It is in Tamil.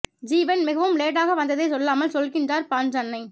ஜீவன் மிகவும் லேட்டாக வந்ததைச் சொல்லாமல் சொல்கின்றார் பாஞ் அண்ணை